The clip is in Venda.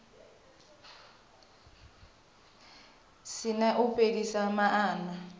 si na u fhelisa maana